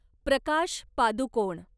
Prakash Padukone